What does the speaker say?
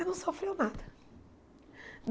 Ele não sofreu nada.